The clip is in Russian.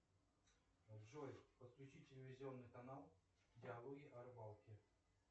джой подключи телевизионный канал диалоги о рыбалке